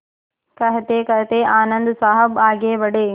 कहतेकहते आनन्द साहब आगे बढ़े